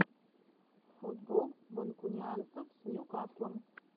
футбол манкунианцев с ньюкаслом